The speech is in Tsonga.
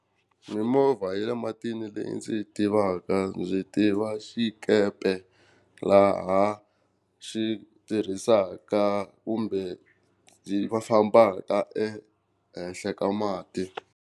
Mimovha ya le matini leyi ndzi yi tivaka byi tiva xikepe, laha xi tirhisaka kumbe va fambaka ehenhla ka mati.